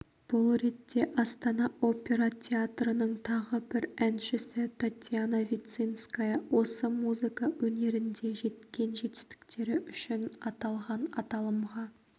бұл ретте астана опера театрының тағы бір әншісі татьяна вицинская осы музыка өнерінде жеткен жетістіктері үшін аталған аталымға